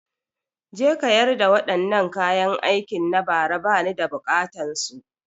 Je ka yarda wadannaan kayan aikin na bara ba ni da buƙatan su!